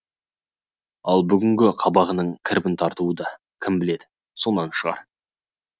ал бүгінгі қабағының кірбің тартуы да кім біледі сонан шығар